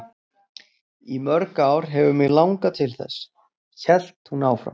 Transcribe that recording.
Í mörg ár hefur mig langað til þess, hélt hún áfram.